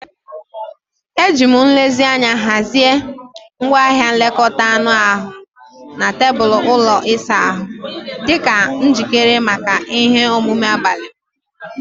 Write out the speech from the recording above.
Ejiri m nlezianya hazie ngwaahịa nlekọta anụ ahụ m na tebụl ụlọ ịsa ahụ, dị njikere maka ihe omume abalị m.